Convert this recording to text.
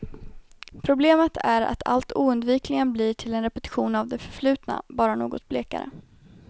Problemet är att allt oundvikligen blir till en repetition av det förflutna, bara något blekare.